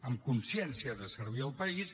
amb consciència de servir al país